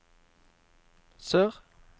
sør